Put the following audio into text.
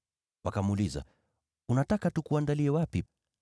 Wakamuuliza, “Unataka tukuandalie wapi?”